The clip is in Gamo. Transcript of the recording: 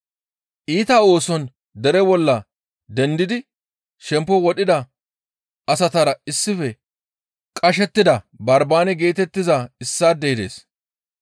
Iita ooson dere bolla dendidi shempo wodhida asatara issife qashettida Barbaane geetettiza issaadey dees.